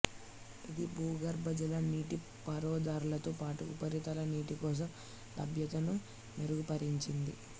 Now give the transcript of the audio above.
ఇది భూగర్భజల నీటిపారుదలతో పాటు ఉపరితల నీటి కోసం లభ్యతను మెరుగుపరిచింది